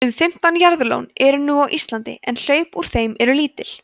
um fimmtán jaðarlón eru nú á íslandi en hlaup úr þeim eru lítil